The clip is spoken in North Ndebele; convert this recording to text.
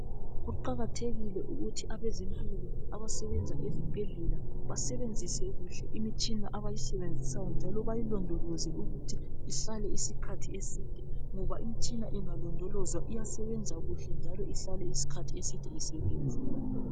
Kuqakathekile ukuthi abezempilo abasebenza ezibhedlela basebenzise kuhle imitshina abayisebenzisayo njalo bayilondoloze ukuthi ihlale isikhathi eside ngoba imitshina ingalondolozwa iyasebenza kuhle njalo ihlale isikhathi eside isebenza.